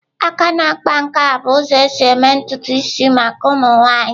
Aka na-akpa nke a bụ ụzọ esi eme ntutu isi maka ụmụ nwaanyị.